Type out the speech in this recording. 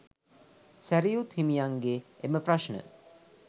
සැරියුත් හිමියන්ගේ එම ප්‍රශ්න